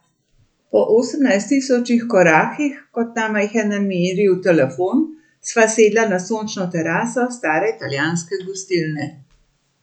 Po osemnajst tisočih korakih, kot nama jih je nameril telefon, sva sedla na sončno teraso stare italijanske gostilne.